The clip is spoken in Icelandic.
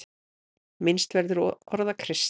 Minnst verður orða Krists.